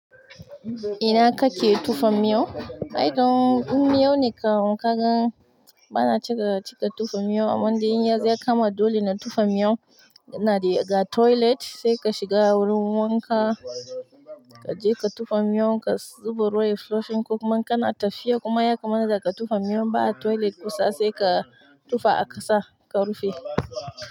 Ina kake tufan miyo? By the way, in miyo ne kawai ka gan bana cika cika tufan miyo, amma dai in yanzu ya kama dole na tufan miyon, ina da ga toilet sai ka shiga wurin wanka, ka je ka tufan miyon ka zuba ruwa ya flushing kuma kana tafiya kuma ya kamata ka tufan miyon ba a toilet kusa sai ka tufa a ƙasa ka rufe.